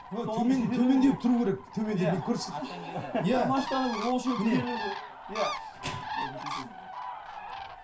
төмендеу тұру керек иә иә ойбай кешіріңіз